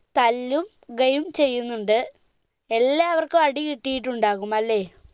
തല്ലു കയും ചെയ്യുന്നുണ്ട് എല്ലാവർക്കും അടികിട്ടിയിട്ടുണ്ടാകും അല്ലെ